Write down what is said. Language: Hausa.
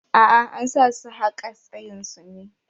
A'a, an sa su haƙa tsayin su ne.